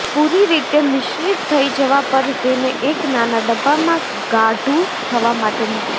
પૂરી રીતે મિશ્રિત થઈ જવા પર તેને એક નાના ડબ્બામાં ગાઢુ થવા માટે મૂકો